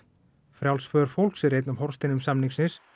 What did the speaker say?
frjáls för fólks er einn af hornsteinum samningsins